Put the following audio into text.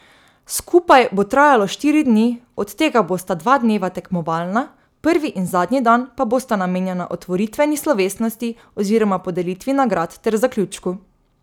Skupaj bo trajalo štiri dni, od tega bosta dva dneva tekmovalna, prvi in zadnji dan pa bosta namenjena otvoritveni slovesnosti oziroma podelitvi nagrad ter zaključku.